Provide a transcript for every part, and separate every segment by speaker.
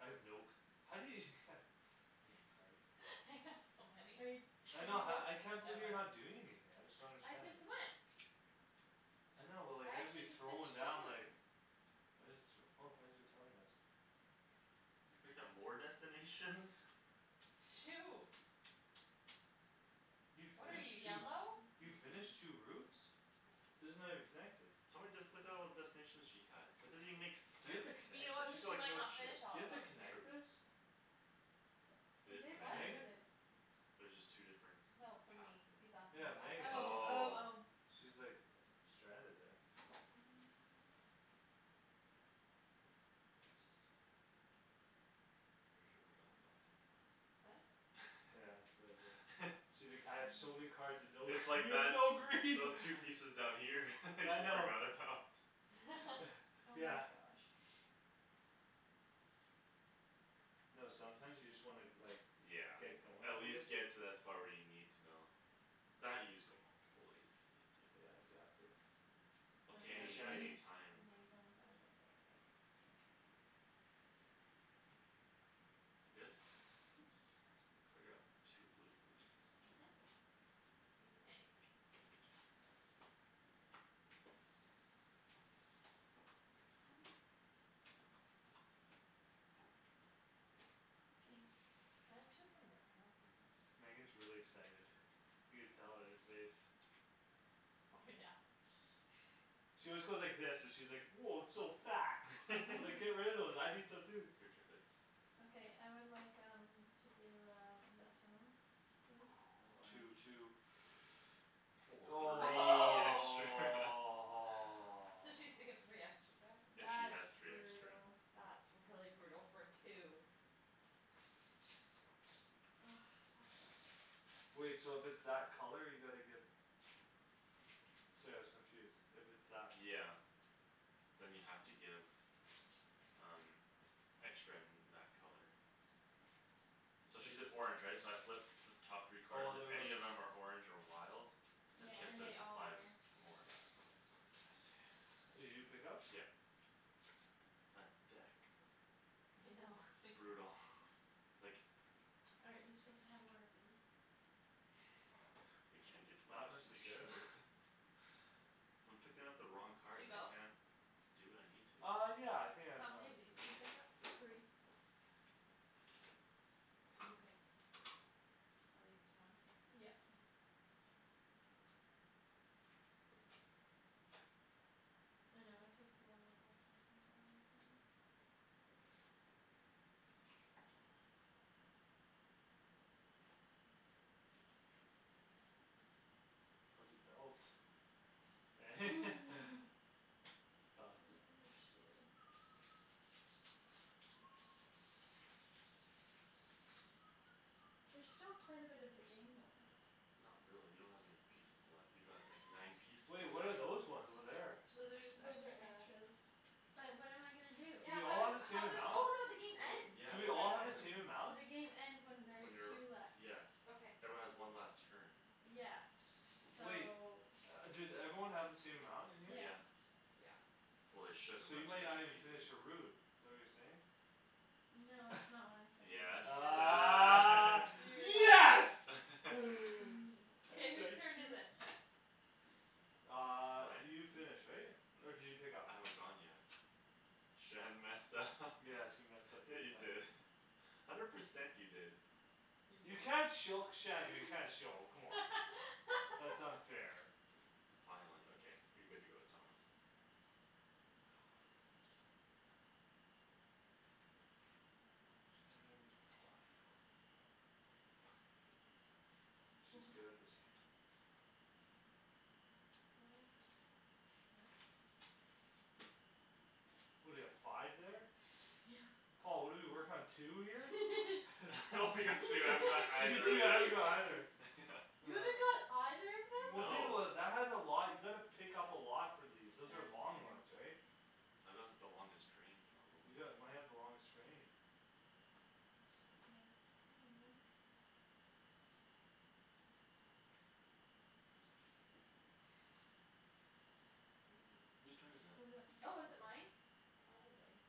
Speaker 1: I have no c- how do you No cards.
Speaker 2: I have so
Speaker 3: Are you
Speaker 2: many.
Speaker 1: I
Speaker 3: Did you
Speaker 1: know ha-
Speaker 3: go?
Speaker 1: I can't believe you're not doing anything. I just don't
Speaker 2: I
Speaker 1: understand.
Speaker 2: just went.
Speaker 1: I know but like
Speaker 2: I
Speaker 1: I'd be
Speaker 2: actually just
Speaker 1: throwing
Speaker 2: finished two
Speaker 1: down like
Speaker 2: routes.
Speaker 1: I just th- Oh thanks for telling us.
Speaker 4: You picked up more destinations?
Speaker 2: Shoot.
Speaker 1: You
Speaker 2: What are you,
Speaker 1: finished two?
Speaker 2: yellow?
Speaker 1: You finished two routes? These are not even connected.
Speaker 4: How many dest- Look at all the destinations she has. That doesn't even make
Speaker 1: Do you have
Speaker 4: sense.
Speaker 1: to
Speaker 2: You
Speaker 1: connect
Speaker 2: know what,
Speaker 1: it?
Speaker 4: She's got
Speaker 2: she
Speaker 4: like
Speaker 2: might
Speaker 4: no
Speaker 2: not
Speaker 4: chips.
Speaker 2: finished
Speaker 1: Do
Speaker 2: all
Speaker 1: you
Speaker 2: of
Speaker 1: have
Speaker 2: them.
Speaker 1: to
Speaker 4: True.
Speaker 1: connect this?
Speaker 4: It
Speaker 3: It
Speaker 4: is
Speaker 3: is
Speaker 2: What?
Speaker 4: connected.
Speaker 1: Megan?
Speaker 3: connected.
Speaker 4: There's just two different
Speaker 2: No, for
Speaker 4: Paths
Speaker 2: me. He's
Speaker 4: there.
Speaker 2: asking
Speaker 1: Yeah, Megan.
Speaker 3: Oh, oh,
Speaker 4: Oh.
Speaker 3: oh.
Speaker 1: She's like uh stranded there.
Speaker 3: Mm. That's not gonna be good.
Speaker 4: You sure forgot about it.
Speaker 2: What?
Speaker 1: Yeah, that's what I did. She's like, "I have so many cards and no."
Speaker 4: It's like
Speaker 1: You have
Speaker 4: that
Speaker 1: no
Speaker 4: those
Speaker 1: green.
Speaker 4: those pieces down here you
Speaker 1: I know.
Speaker 4: forgot about.
Speaker 3: Oh
Speaker 1: Yeah.
Speaker 3: my gosh.
Speaker 1: No, sometimes you just wanna like
Speaker 4: Yeah,
Speaker 1: Get going
Speaker 4: at
Speaker 1: a little.
Speaker 4: least get to that spot where you need to know. That you just go multiple ways if you needed to.
Speaker 1: Yeah, exactly.
Speaker 4: Okay,
Speaker 3: Okay,
Speaker 1: Is it
Speaker 3: these
Speaker 4: any any
Speaker 1: Shany's?
Speaker 3: these one's
Speaker 4: time.
Speaker 3: I'm gonna get rid of. I'll keep these.
Speaker 4: You good?
Speaker 3: Yeah.
Speaker 4: Could I grab two blue please.
Speaker 2: Mhm. You may.
Speaker 3: What was that? Okay.
Speaker 2: Can I have two from your pile?
Speaker 4: Mhm.
Speaker 1: Megan's really excited. You can tell on your face.
Speaker 2: Oh, yeah.
Speaker 1: She always goes like this, she's like, "Woah, it's so fat." It's like, "Get rid of those. I need some too."
Speaker 4: Your turn babe.
Speaker 3: Okay, I would like, um To do um a tunnel please
Speaker 1: Two,
Speaker 3: with orange.
Speaker 1: two.
Speaker 4: Woah, three extra.
Speaker 2: So she has to give three extra back.
Speaker 4: If she
Speaker 3: That's
Speaker 4: has three extra.
Speaker 3: brutal.
Speaker 2: That's really brutal for two.
Speaker 3: Ah, that sucks.
Speaker 1: Wait, so if it's that color you gotta give Sorry I was confused, if it's that
Speaker 4: Yeah. Then you have to give Um Extra in that color. So
Speaker 1: If
Speaker 4: she's an
Speaker 1: there's
Speaker 4: orange right? So I flip The top three
Speaker 1: Oh,
Speaker 4: card,
Speaker 1: and there
Speaker 4: if
Speaker 1: was
Speaker 4: any of them are orange or wild Then
Speaker 3: Yeah,
Speaker 4: she
Speaker 1: I
Speaker 4: has
Speaker 3: and
Speaker 1: see.
Speaker 4: to
Speaker 3: they all are.
Speaker 4: supply them more of that, yeah.
Speaker 1: I see. Did you pick up?
Speaker 4: Yeah. That deck.
Speaker 2: I know.
Speaker 4: It's brutal, like
Speaker 3: Aren't you suppose to have more of these?
Speaker 4: I
Speaker 1: No,
Speaker 4: can't get to my
Speaker 1: not
Speaker 4: destination.
Speaker 1: necessarily.
Speaker 4: I'm picking up the wrong
Speaker 2: Did you
Speaker 4: cards. I
Speaker 2: go?
Speaker 4: can't do what I need to.
Speaker 1: Uh, yeah, I think I've
Speaker 2: How many
Speaker 1: gone.
Speaker 2: of these do you pick up?
Speaker 3: Three.
Speaker 2: And you pick at least one?
Speaker 3: Yep. I know it takes a while to actually figure out where everything is.
Speaker 1: How's the belt? Eh? It's
Speaker 3: I
Speaker 1: awesome.
Speaker 3: don't know what to do. There's still quite a bit of the game left.
Speaker 4: Not really. You don't have many pieces left. You've got like nine pieces.
Speaker 1: Wait, what are those ones over there?
Speaker 2: Those are just
Speaker 3: Those are
Speaker 2: extras.
Speaker 3: extras. But what am I gonna do?
Speaker 1: Do
Speaker 2: Yeah,
Speaker 1: we
Speaker 2: how
Speaker 1: all have
Speaker 2: do-
Speaker 1: the same
Speaker 2: how does
Speaker 1: amount?
Speaker 2: Oh, no, the game
Speaker 4: What?
Speaker 2: ends
Speaker 4: Yeah,
Speaker 1: Do
Speaker 4: the
Speaker 1: we all
Speaker 4: game
Speaker 1: have the
Speaker 4: ends.
Speaker 1: same amount?
Speaker 3: The game ends when
Speaker 4: When
Speaker 3: there's two
Speaker 4: you're,
Speaker 3: left.
Speaker 4: yes
Speaker 2: Okay.
Speaker 4: Everyone has one last turn.
Speaker 3: Yeah, so
Speaker 1: Wait. Do everyone have the same amount in here?
Speaker 3: Yeah.
Speaker 4: Yeah.
Speaker 2: Yeah
Speaker 4: Well, they should
Speaker 1: So you
Speaker 4: unless we're
Speaker 1: might not
Speaker 4: missing
Speaker 1: even finish
Speaker 4: pieces.
Speaker 1: your route. Is that what you're saying?
Speaker 3: No, that's not what I'm saying.
Speaker 4: Yes,
Speaker 1: Ah
Speaker 4: ah.
Speaker 1: yes
Speaker 3: Mm,
Speaker 2: K, whose
Speaker 1: Thank
Speaker 3: k
Speaker 2: turn is
Speaker 1: you.
Speaker 2: it?
Speaker 1: Uh,
Speaker 4: Mine?
Speaker 1: you finished, right? Or did you pick up?
Speaker 4: I haven't gone yet. Shan messed up
Speaker 1: Yeah, she messed up
Speaker 4: Yeah,
Speaker 1: big
Speaker 4: you
Speaker 1: time.
Speaker 4: did hundred percent you did.
Speaker 1: You can't choke Shandy, you can't show come on, that's unfair.
Speaker 4: Finally, okay, you're good to go, Thomas.
Speaker 1: Oh, poopers. Shandryn, why you're winning? She's good at this game.
Speaker 3: What? Well
Speaker 1: What do you have five there?
Speaker 3: Yeah.
Speaker 1: Paul, what do you work on two here?
Speaker 4: I only got two. I haven't got
Speaker 1: You
Speaker 4: either of
Speaker 1: too I
Speaker 4: that.
Speaker 1: don't know either
Speaker 4: Yeah.
Speaker 3: You haven't got either of them?
Speaker 1: Well, think
Speaker 4: No.
Speaker 1: about it, that has a lot. You gotta pick up a lot for these. Those
Speaker 3: Yeah,
Speaker 1: are
Speaker 3: that's
Speaker 1: long
Speaker 3: very
Speaker 1: ones, right?
Speaker 4: I got the longest train
Speaker 1: You
Speaker 4: probably.
Speaker 1: got might have the longest train.
Speaker 3: Yeah, you probably
Speaker 4: Who's turn is it?
Speaker 3: Is it?
Speaker 2: Oh, is it mine? Probably.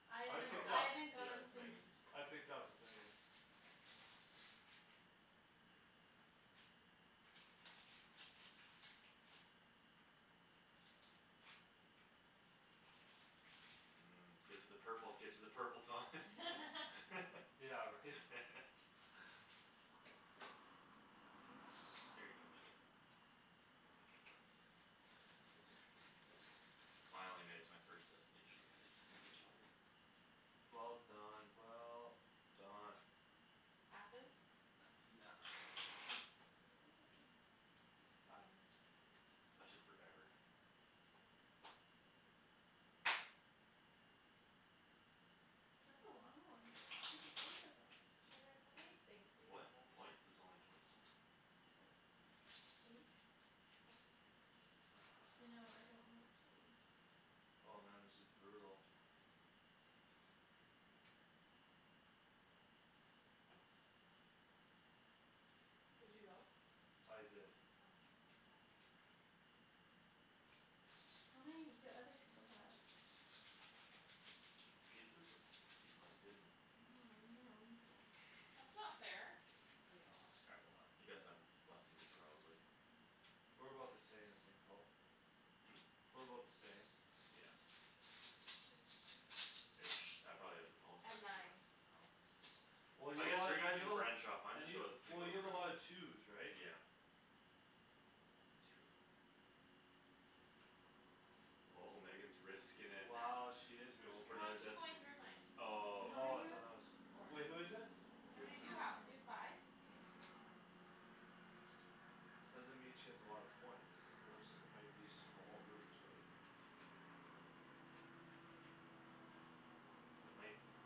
Speaker 3: I don't know. I
Speaker 1: I
Speaker 3: haven't
Speaker 1: picked
Speaker 4: Probably.
Speaker 3: I
Speaker 1: up.
Speaker 3: haven't
Speaker 4: Yeah,
Speaker 3: gone
Speaker 4: it's
Speaker 3: since.
Speaker 4: Megan's.
Speaker 1: I picked up but then again
Speaker 4: Mm. Get to the purple, get to the purple, Thomas.
Speaker 1: Yeah, right?
Speaker 4: Here you go, Megan. Finally made it to my first destination guys. Killed it.
Speaker 1: Well done, well done.
Speaker 2: Athens.
Speaker 4: Athena.
Speaker 2: K
Speaker 1: I
Speaker 2: babe.
Speaker 4: That took forever.
Speaker 3: That's a long one. How many points is that?
Speaker 2: Shandryn, how many things to you
Speaker 4: What?
Speaker 2: have up?
Speaker 4: A points? Is only twenty one.
Speaker 3: Oh, eight?
Speaker 2: Oh, okay.
Speaker 3: I know, I don't know what to do.
Speaker 1: Oh, man, this is brutal.
Speaker 2: Did you go?
Speaker 1: I did.
Speaker 2: Okay.
Speaker 3: How many do other people have?
Speaker 4: Pieces? It's I keep mine hidden.
Speaker 3: Oh, you're a weasel.
Speaker 2: That's not fair, oh, you have a lot.
Speaker 4: I have a lot. You guys have less then me probably.
Speaker 3: Okay.
Speaker 1: We're about the same, I think, Paul.
Speaker 4: Hmm?
Speaker 1: We're about the same.
Speaker 4: Yeah. Ish I probably have the most
Speaker 2: I've
Speaker 4: actually
Speaker 2: nine.
Speaker 4: left somehow.
Speaker 1: Well, you
Speaker 4: I guess
Speaker 1: have
Speaker 4: your guy's
Speaker 1: you have a lot
Speaker 4: branch off. Mine
Speaker 1: and
Speaker 4: just
Speaker 1: you
Speaker 4: goes
Speaker 1: Well,
Speaker 4: single
Speaker 1: you have a
Speaker 4: route.
Speaker 1: lot of twos right?
Speaker 4: Yeah. It's true. Oh, Megan's risking it.
Speaker 1: Wow, she is
Speaker 4: Goin'
Speaker 1: risking
Speaker 4: for
Speaker 2: No,
Speaker 1: it.
Speaker 4: another
Speaker 2: I'm just going
Speaker 4: destin-
Speaker 2: through mine.
Speaker 3: How
Speaker 4: Oh, okay.
Speaker 3: many
Speaker 1: Oh,
Speaker 3: you
Speaker 1: I thought that was
Speaker 3: have?
Speaker 2: Four.
Speaker 1: Wait, who
Speaker 3: Oh,
Speaker 1: is it?
Speaker 2: How
Speaker 4: Your
Speaker 2: many do
Speaker 3: it's
Speaker 4: turn.
Speaker 3: my
Speaker 2: you have? Do you have
Speaker 3: turn.
Speaker 2: five?
Speaker 3: Yeah.
Speaker 1: Doesn't mean she has a lot of points. Those might be small routes right?
Speaker 2: True.
Speaker 1: They might be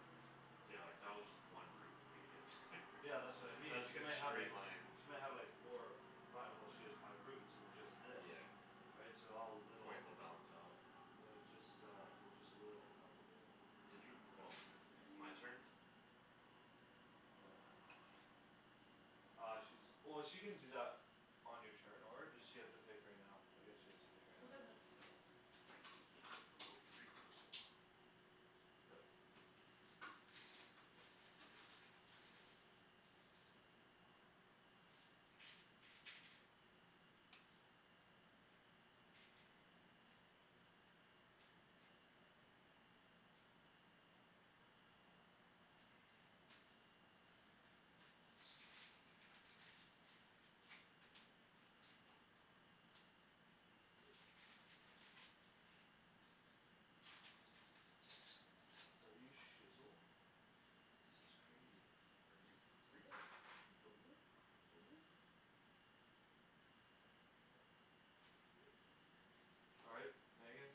Speaker 4: Yeah, like that was just one route for me to get there
Speaker 1: Yeah, that's what I
Speaker 4: And
Speaker 1: mean,
Speaker 4: that's
Speaker 1: she
Speaker 4: like
Speaker 1: might
Speaker 4: a
Speaker 1: have like
Speaker 4: straight line.
Speaker 1: She might have like four five, well, she has five routes and just this
Speaker 4: Yeah, exactly.
Speaker 1: Right, so all little
Speaker 4: Points will balance out.
Speaker 1: They're just, uh They're just little probably, right?
Speaker 4: Did you? Oh, you're picking.
Speaker 3: I'm
Speaker 4: My
Speaker 3: picking.
Speaker 4: turn?
Speaker 1: I don't know. Uh, she's Oh, she can do that On your turn or does she have to pick right now? I guess she has to pick right now.
Speaker 3: It doesn't really matter all that
Speaker 4: I'll
Speaker 3: much.
Speaker 4: go three purple.
Speaker 1: Yep.
Speaker 3: Oh, my god.
Speaker 1: Are you shizzel? This is crazy.
Speaker 4: Are you for real?
Speaker 1: Are you for All right, Megan.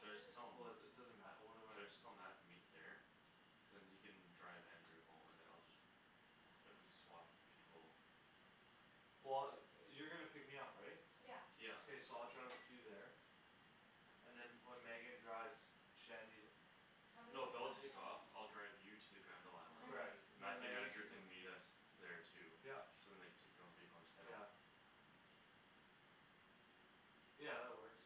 Speaker 4: Should I just tell 'em?
Speaker 1: Woah, it it doesn't matter. What am
Speaker 4: Should I
Speaker 1: I?
Speaker 4: just tell Mat to meet there? Cuz then he can drive Andrew home and then I'll just If we swap people.
Speaker 1: Well, yo- you're gonna pick me up, right?
Speaker 2: Yeah.
Speaker 4: Yeah.
Speaker 1: K, so I'll drive with you there and then when Megan drives Shandy
Speaker 2: How many
Speaker 4: No,
Speaker 2: do you
Speaker 4: they'll
Speaker 2: have
Speaker 4: take off.
Speaker 2: Shandryn?
Speaker 4: I'll drive you to the Granville
Speaker 2: How
Speaker 4: island.
Speaker 3: I
Speaker 2: many?
Speaker 3: have
Speaker 1: Correct.
Speaker 3: eight.
Speaker 1: Then
Speaker 4: Mathew and
Speaker 1: Megan
Speaker 4: Andrew
Speaker 1: can come.
Speaker 4: can meet us
Speaker 2: Okay.
Speaker 4: there too.
Speaker 1: Yup.
Speaker 4: So then they can take their own vehicle and just head home.
Speaker 1: Yeah. Yeah, that works.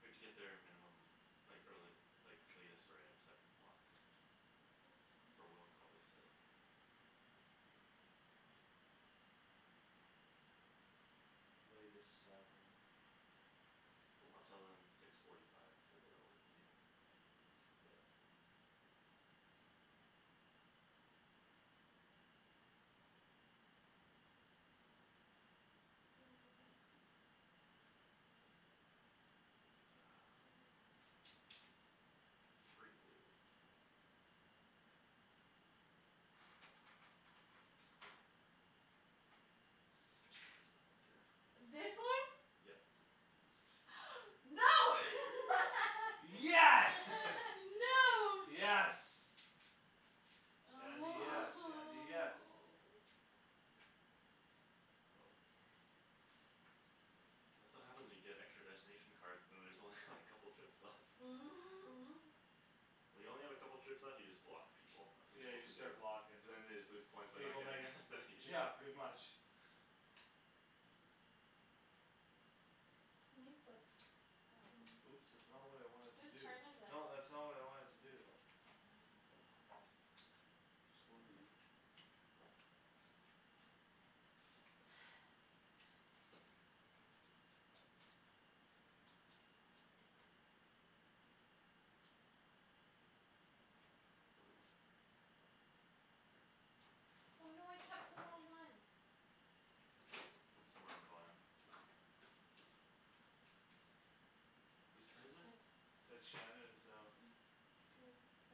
Speaker 4: We have to get there a minimum Like early like latest sorry at Seven o'clock.
Speaker 3: That's
Speaker 4: For
Speaker 3: fine.
Speaker 4: will call, they said.
Speaker 1: Latest seven.
Speaker 4: I'll tell them six forty five because they're always late. Yeah.
Speaker 3: That's a good one. Do you wanna go babe quick?
Speaker 4: Um. Three blue. Can you Just place them right there for me
Speaker 3: This one?
Speaker 4: Yep.
Speaker 3: No.
Speaker 1: Yes.
Speaker 3: No.
Speaker 1: Yes. Shandy, yes, Shandy, yes. Oh.
Speaker 4: That's what happens when you get extra destination cards. Then there's only like couple trips left. When you only have a couple trips left you just block people. That's what
Speaker 1: Yeah,
Speaker 4: you're
Speaker 1: you just
Speaker 4: suppose to do.
Speaker 1: start blockin'.
Speaker 4: Cuz then they just lose points by
Speaker 1: Here you
Speaker 4: not
Speaker 1: go,
Speaker 4: getting
Speaker 1: Megan.
Speaker 4: destinations.
Speaker 1: Yeah, pretty much.
Speaker 3: Can you flip
Speaker 2: Oh.
Speaker 3: some?
Speaker 1: Oops, that's not what I wanted to
Speaker 2: Whose
Speaker 1: do.
Speaker 2: turn is it?
Speaker 1: No, that's not what I wanted to do.
Speaker 2: Oh, now I know what those are
Speaker 1: Sorry.
Speaker 4: Somewhere on the bottom? Whose turn is it?
Speaker 3: It's
Speaker 1: It's Shandryn's now.
Speaker 3: Mine. K,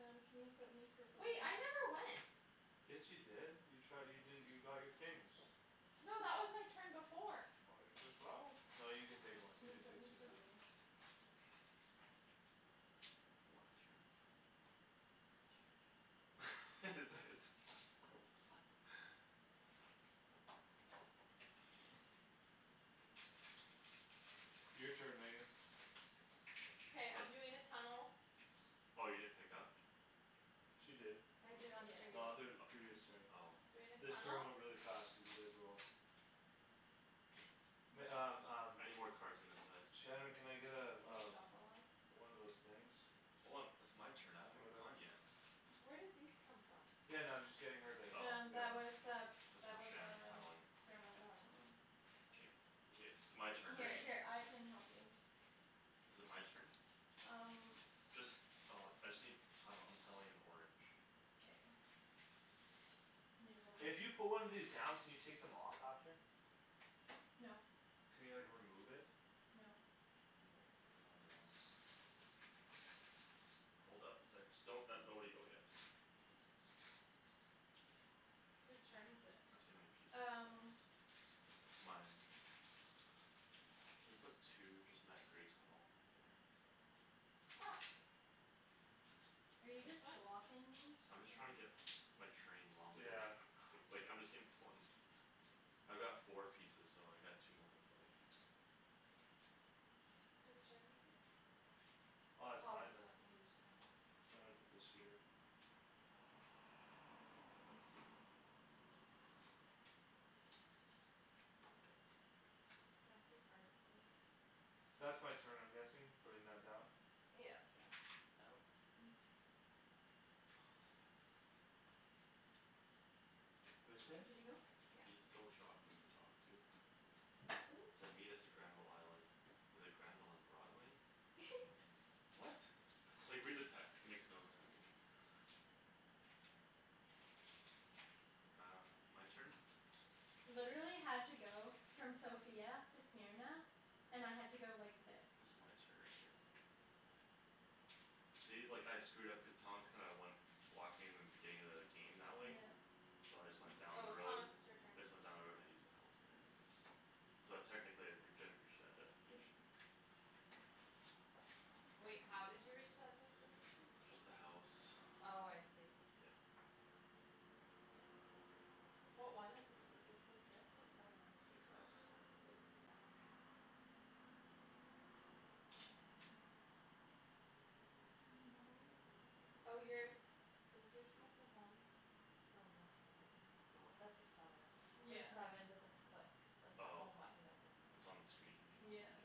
Speaker 3: um, can you put me for
Speaker 2: Wait, I never went.
Speaker 1: Yes, you did you try you did you got your things
Speaker 2: No, that was my turn before.
Speaker 1: Buy it yourself. No, you can take
Speaker 3: Can you
Speaker 1: one,
Speaker 3: flip
Speaker 1: you can
Speaker 3: me
Speaker 1: take two
Speaker 3: for
Speaker 1: now.
Speaker 3: blues?
Speaker 4: One extra? Is it?
Speaker 1: Your turn, Megan.
Speaker 2: K, I'm doing a tunnel.
Speaker 4: Oh, you didn't pick up?
Speaker 1: She did.
Speaker 2: I did on the
Speaker 1: The
Speaker 2: previous
Speaker 1: other previous turn.
Speaker 4: O- oh
Speaker 2: Doing a
Speaker 1: This turn
Speaker 2: tunnel
Speaker 1: went really fast cuz you guys were all
Speaker 2: Yes.
Speaker 1: Meg- um um
Speaker 4: I need more cards on this side.
Speaker 1: Shandryn, can I get uh
Speaker 2: Can you
Speaker 1: uh
Speaker 2: shuffle them?
Speaker 1: One of those things
Speaker 4: Hold on. It's my turn. I haven't even gone
Speaker 1: Whatever.
Speaker 4: yet.
Speaker 2: Where did these come from?
Speaker 1: Yeah, no, I'm just getting her to
Speaker 4: Oh.
Speaker 1: get one
Speaker 4: That's from Shand's tunneling.
Speaker 2: Oh.
Speaker 4: K, k, it's my turn, right? Is it my turn? Just uh I just need tunnel. I'm tunneling in orange.
Speaker 3: K.
Speaker 1: If you put one of these down can you take them off after?
Speaker 3: No.
Speaker 1: Can you like remove it?
Speaker 3: No.
Speaker 4: No, once they're on they're on. Hold up a sec. Just don't nobody go yet.
Speaker 2: Whose turn is it?
Speaker 4: Tryin' to see how many pieces I have
Speaker 3: Um.
Speaker 4: left. Mine. Can you put two just in that grey tunnel up there?
Speaker 2: Ops.
Speaker 3: Are you just
Speaker 2: This one?
Speaker 3: blocking me?
Speaker 4: I'm just trying to get my train longer
Speaker 1: Yeah.
Speaker 4: like I'm just getting points. I've got four pieces, so I got two more to play.
Speaker 2: K. Whose turn is it?
Speaker 1: Uh, it's
Speaker 2: Paul
Speaker 1: mine
Speaker 2: just
Speaker 1: then.
Speaker 2: went, you just, okay
Speaker 1: Sorry, I put this here.
Speaker 2: Okay. Can I have some cards over here?
Speaker 1: That's my turn I'm guessing. Putting that down?
Speaker 3: Yeah.
Speaker 2: Yeah
Speaker 3: Oh
Speaker 1: What'd you say?
Speaker 4: He's
Speaker 2: Yeah.
Speaker 4: so shocking to talk to. Said meet us at Granville island. He's like, "Granville and Broadway?"
Speaker 1: What?
Speaker 4: Like read the text. It makes no sense. Um, my turn?
Speaker 3: Literally had to go from Sofia to Smyrna, and I had to go like this.
Speaker 4: This is my turn right here. See, like I screwed up cuz Thomas kinda went Blocked me in the beginning of the game that way.
Speaker 3: Yeah.
Speaker 4: So I just went down the
Speaker 2: Oh,
Speaker 4: road.
Speaker 2: Thomas it's your turn.
Speaker 4: I just went down the road and I used the house there I guess. So technically I re- I just reached that
Speaker 3: Yeah.
Speaker 4: destination.
Speaker 2: Wait, how did you reach that destination?
Speaker 4: Just the house.
Speaker 2: Oh, I see.
Speaker 4: Yeah.
Speaker 2: What one is this? Is this the six or seven?
Speaker 4: Six s.
Speaker 2: Oh, six s
Speaker 3: There are no ho-
Speaker 2: Oh, yours, does yours have the home? Oh, no, never
Speaker 4: The
Speaker 2: mind.
Speaker 4: what?
Speaker 2: That's the seven. The
Speaker 3: Yeah.
Speaker 2: seven doesn't click like the
Speaker 4: Oh,
Speaker 2: home button, doesn't click,
Speaker 4: it's on the screen you mean?
Speaker 2: yeah.
Speaker 3: Yeah.
Speaker 4: Yeah.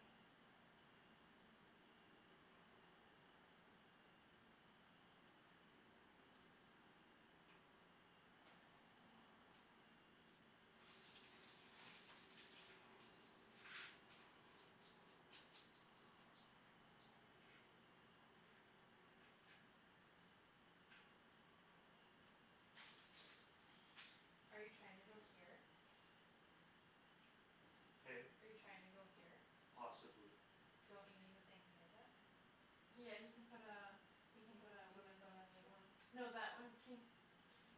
Speaker 2: Are you trying to go here?
Speaker 1: Hey?
Speaker 2: Are you trying to go here?
Speaker 1: Possibly.
Speaker 2: Don't you need a thing here then?
Speaker 3: Yeah, he can put uh
Speaker 2: You
Speaker 3: He can put a one of
Speaker 2: you need another
Speaker 3: those